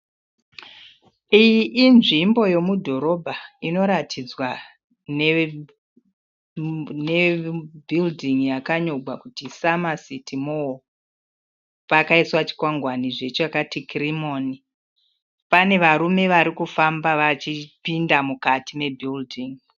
Iyi inzvimbo yemudhorobha inoratidzwa nebhiridhingi yakanyorwa kuti SummerCity Mall, pakaiswa chikwangwanizve chakati Kirimoni, pane varume varikufamba vachipinda mukati mebhiridhingi.